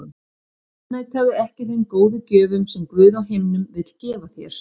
Afneitaðu ekki þeim góðu gjöfum sem Guð á himnum vill gefa þér.